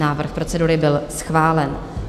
Návrh procedury byl schválen.